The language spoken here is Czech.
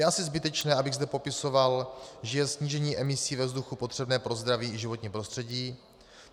Je asi zbytečné, abych zde popisoval, že je snížení emisí ve vzduchu potřebné pro zdraví i životní prostředí.